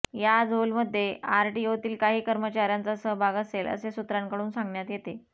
या झोलमध्ये आरटीओतील काही कर्मचाऱयांचा सहभाग असेल असे सूत्रांकडून सांगण्यात येते